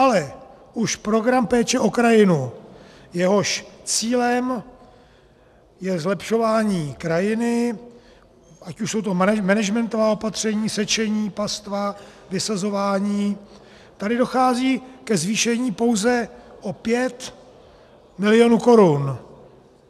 Ale už program péče o krajinu, jehož cílem je zlepšování krajiny, ať už jsou to managementová opatření, sečení pastva, vysazování, tady dochází ke zvýšení pouze o 5 milionů korun.